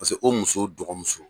Paseke o muso dɔgɔmuso